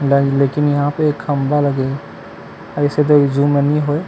Line लेकिन यहाँ पे खम्बा लगे हे अउ अइसे क दरी ज़ूम म नई होय।